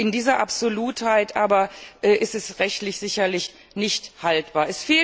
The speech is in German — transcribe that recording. In dieser Absolutheit ist er rechtlich sicherlich nicht haltbar.